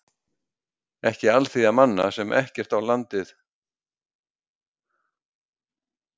Ekki alþýða manna, sem ekkert landið á og engin réttindi hefur.